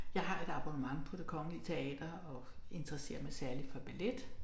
Jeg har et abonnement på det Kongelige Teater og interesserer mig særligt for ballet